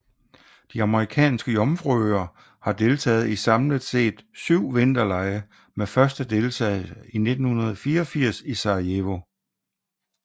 De Amerikanske Jomfruøer har deltaget i samlet set syv vinterlege med første deltagelse i 1984 i Sarajevo